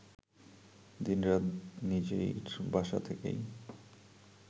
দিন-রাত নিজের বাসা থেকেই